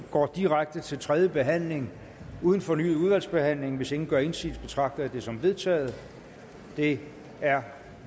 går direkte til tredje behandling uden fornyet udvalgsbehandling hvis ingen gør indsigelse betragter jeg det som vedtaget det er